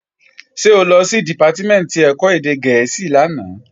Ṣé o lọ sí Dìpátímẹ̀ntì ẹ̀kọ́ èdè gẹ̀ẹ́sì lánàá?